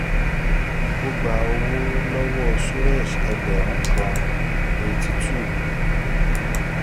ó gba owó lọ́wọ́ suresh ẹgbẹ̀rún kan eighty-two